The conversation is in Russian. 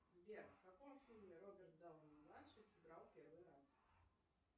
сбер в каком фильме роберт дауни младший сыграл первый раз